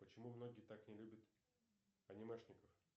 почему многие так не любят анимешников